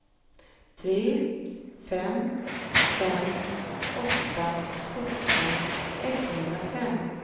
tre fem fem åtta sjutton etthundrafem